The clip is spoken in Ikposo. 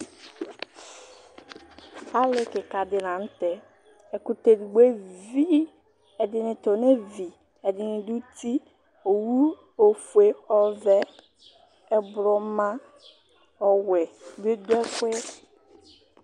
Alì kìka ɖi la ŋtɛ Ɛkutɛ ɛɖigbo evi Ɛɖìní ta ɔnevi Ɛɖìní ɖʋ ʋti Owu ɔfʋe, ɔvɛ, ɛblɔ, ɔwɛ bi ɖʋ ɛfʋɛ